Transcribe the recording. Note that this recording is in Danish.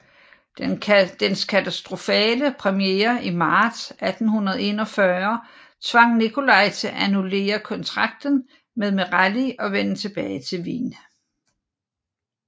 Dens katastrofale premiere i marts 1841 tvang Nicolai til at annullere kontrakten med Merelli og vende tilbage til Wien